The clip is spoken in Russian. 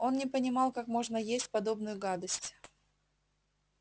он не понимал как можно есть подобную гадость